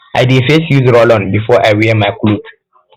i dey first use rollon before i wear my cloth